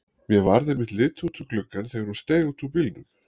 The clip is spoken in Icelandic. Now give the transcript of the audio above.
Mér varð einmitt litið út um gluggann þegar hún steig út úr bílnum.